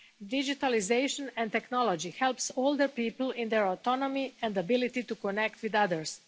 Digitalisation and technology help older people in their autonomy and ability to connect with others.